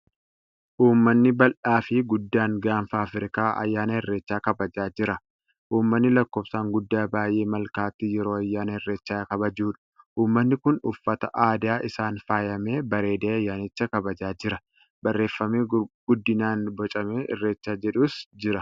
Ummanni bal'aa fi guddaan Gaafa Afrikaa ayyaana Irreechaa kabajaa jira. Ummanni lakkofsaan guddaa ba'ee malkaatti yeroo ayyaana Irreechaa kabajuudha. Ummani kun uffata aadaa isaan faayamee bareedee ayyaanicha kabajaa jira. Barreefami guddinaan bocame Irreechaa jedhus jira.